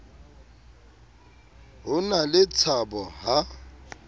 ho na le tshabo ha